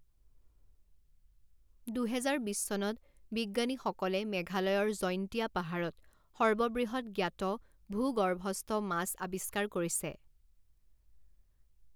দুহেজাৰ বিছ চনত, বিজ্ঞানীসকলে মেঘালয়ৰ জৈন্তিয়া পাহাৰত সৰ্ববৃহৎ জ্ঞাত ভূগৰ্ভস্থ মাছ আৱিষ্কাৰ কৰিছে।